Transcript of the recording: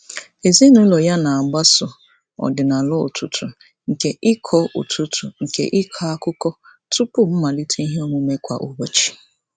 Ezinaụlọ ya na-agbaso ọdịnala ụtụtụ nke ịkọ ụtụtụ nke ịkọ akụkọ tụpụ mmalite iheomume kwa ụbọchị.